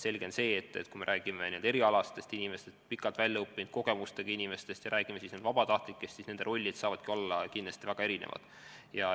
Selge on ka see, et kui me räägime erialaspetsialistidest, kaua aega õppinud, kogemustega inimestest ja teisalt vabatahtlikest, siis nende rollid saavad kindlasti olla väga erinevad.